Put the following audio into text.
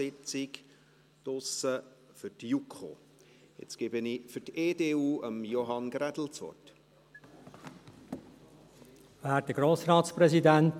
Um 14 Uhr findet für die JuKo draussen eine Wandelhallensitzung statt.